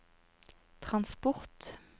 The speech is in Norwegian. transport